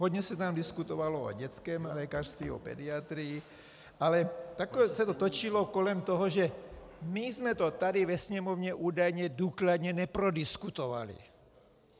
Hodně se tam diskutovalo o dětském lékařství, o pediatrii, ale nakonec se to točilo kolem toho, že my jsme to tady ve sněmovně údajně důkladně neprodiskutovali.